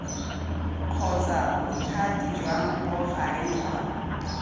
kgotsa bothati jwa bogareng jwa